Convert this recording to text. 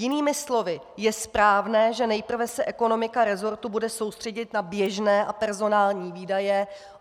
Jinými slovy, je správné, že nejprve se ekonomika resortu bude soustředit na běžné a personální výdaje.